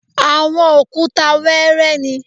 Àwọn òkúta wẹẹrẹ ni